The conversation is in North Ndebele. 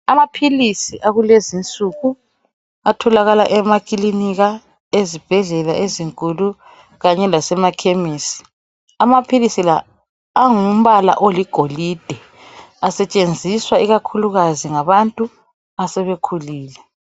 amaphilisi akulezinsuku atholakala emakilinika ezibhedlela ezinkulu kanye lasema khemisi amaphilisi la angumbala oligolide asetshenziswa ikakhulukazi ngabantu asebekhulile